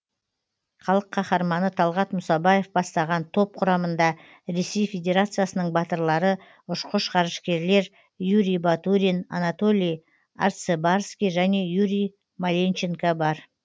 халық қаһарманы талғат мұсабаев бастаған топ құрамында ресей федерациясының батырлары ұшқыш ғарышкерлер юрий батурин анатолий арцебарский және юрий маленченко бар